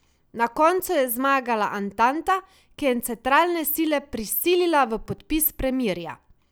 Na koncu je zmagala antanta, ki je centralne sile prisilila v podpis premirja.